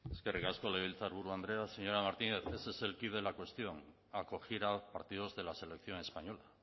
eskerrik asko legebiltzarburu andrea señora martínez ese es el quid la cuestión acoger a partidos de la selección española